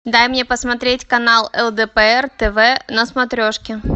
дай мне посмотреть канал лдпр тв на смотрешке